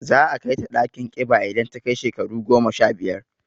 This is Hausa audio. Za a kai ta ɗakin ƙiba idan ta kai shekaru goma sha biyar.